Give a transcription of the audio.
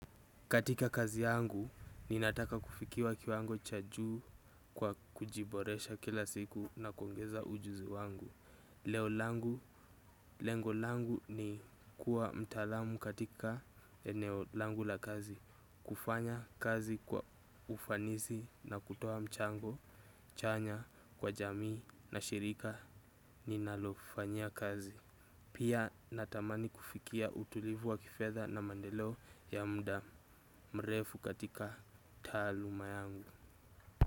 Katika kazi yangu, ninataka kufikia kiwango cha juu kwa kujiboresha kila siku na kuongeza ujuzi wangu. Leo langu, lengo langu ni kuwa mtaalamu katika eneo langu la kazi. Kufanya kazi kwa ufanisi na kutoa mchango, chanya kwa jamii na shirika ninalofanyia kazi. Pia natamani kufikia utulivu wa kifedha na maendelo ya muda mrefu katika taluma yangu.